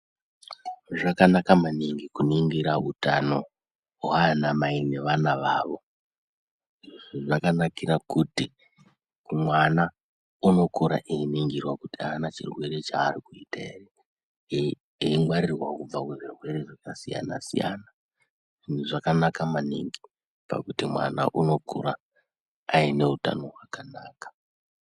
Zvakanaka maningi kuningira utano hwanamai nevana vavo. Zvakanakira kuti mwana unokura einingirwa kuti aana chirwere chari kuita here eingwarirwawo kubva kuzvirwere zvakasiyana siyana zvakanaka maningi pakuti mwana unokura aine utano hwakanaka.